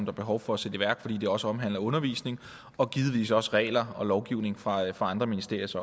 er behov for at sætte i værk fordi det også omhandler undervisning og givetvis også regler og lovgivning fra andre ministeriers